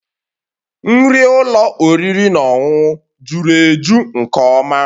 Nri ụlọ oriri na ọṅụṅụ juru eju nke ọma